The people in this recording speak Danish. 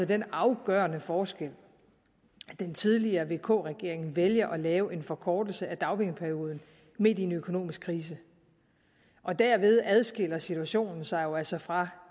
den afgørende forskel at den tidligere regering vk regeringen valgte at lave en forkortelse af dagpengeperioden midt i en økonomisk krise derved adskiller situationen sig jo altså fra